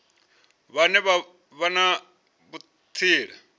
vhane vha vha na vhutsila